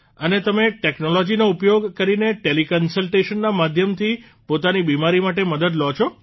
અને તમે ટેકનોલોજીનો ઉપયોગ કરીને ટેલીકન્સલટેશનના માધ્યમથી પોતાની બિમારી માટે મદદ લો છો